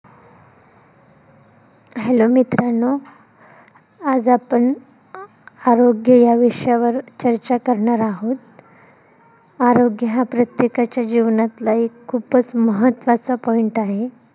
hello मित्रांनो आज आपण आरोग्य या विषयावर चर्चा करणार आहोत. आरोग्य हा प्रत्येकाच्या जीवनातला एक खूपच महत्वाचा point आहे.